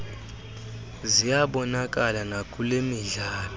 ziyabonakala nakule midlalo